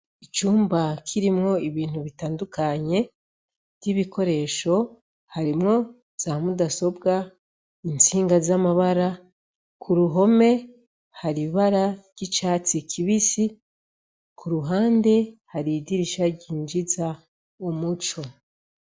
Icumba kirimwo ibintu bitandukanye, nk'ibikoresho harimwo za mudasobwa, intsinga z'amabara. Ku ruhome hari ibara ry'icatsi kibisi, ku ruhande hari idirisha ryinjiza umuco.